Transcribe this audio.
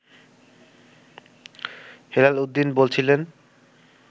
হেলাল উদ্দিন বলছিলেন